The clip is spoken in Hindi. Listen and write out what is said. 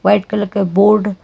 व्हाइट कलर का बोर्ड --